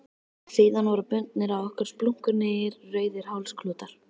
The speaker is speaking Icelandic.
Síðan voru bundnir á okkur splunkunýir rauðir hálsklútar.